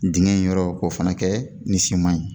Digɛn in yɔrɔ k'o fɛnɛ kɛ ni siman ye